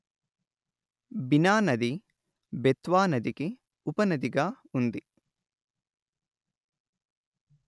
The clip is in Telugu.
బినా నది బెత్వానదికి ఉపనదిగా ఉంది